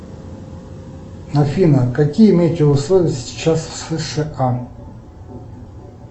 афина какие метеоусловия сейчас в сша